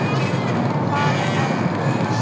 Fara erlendis?